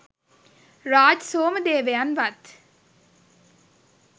Raj සෝමදේවයන්වත්